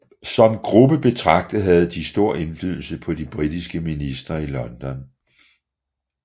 Som gruppe betragtet havde de stor indflydelse på de britiske ministre i London